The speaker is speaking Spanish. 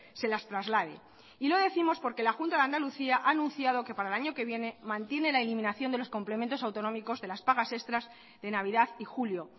se las traslade y lo décimos porque la junta de andalucía ha anunciado que para el año que viene mantiene la eliminación de los complementos autonómicos de las pagas extras de navidad y julio